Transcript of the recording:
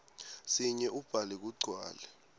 sinye ubhale kugcwale